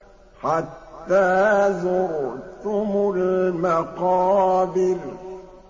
حَتَّىٰ زُرْتُمُ الْمَقَابِرَ